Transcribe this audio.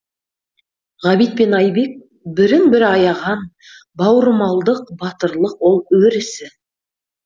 ғабит пен айбек бірін бірі аяған бауырмалдық батырлық ол өр ісі